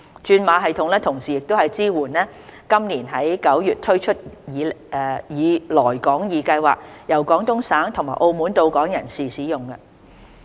轉碼系統同時支援於今年9月推出以"來港易"計劃由廣東省和澳門到港的人士使用。